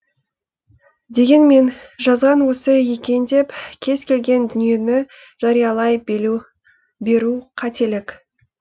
дегенмен жазған осы екен деп кез келген дүниені жариялай беру қателік